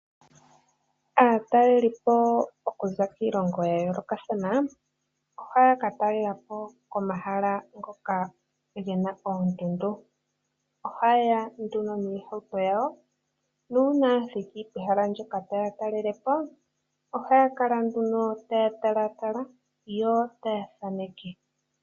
Aatalelipo okuza kiilongo ya yoolokathana ohaya katalelapo Komahala ngoka gena oondundu. Ohayeya nduno noohauto dhawo ,nuuna ya thiki ohaya kala taya talatala yo taya thaneke